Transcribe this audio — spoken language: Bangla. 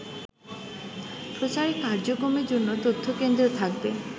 প্রচার কার্যক্রমের জন্য তথ্যকেন্দ্র থাকবে